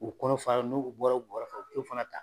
U kɔnɔ fara ,n'u bɔra u bɔra fana ta.